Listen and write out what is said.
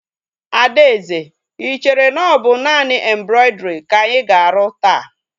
Adaeze, I chere na ọ bụ naanị embrọidrii ka anyị ga-arụ taa?